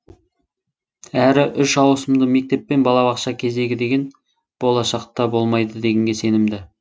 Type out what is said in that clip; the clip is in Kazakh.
әрі үш ауысымды мектеп пен балабақша кезегі деген болашақтаболмайды дегенге сенімді